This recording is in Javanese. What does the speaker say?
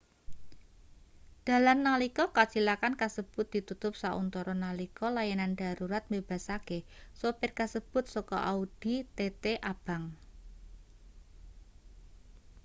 dalan nalika kacilakan kasebut ditutup sauntara nalika layanan darurat mbebasake supir kasebut saka audi tt abang